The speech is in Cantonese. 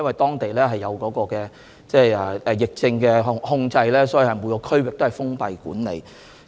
當地已實施疫症控制，每個區域實行封閉管理。